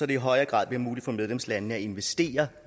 i højere grad bliver muligt for medlemslandene at investere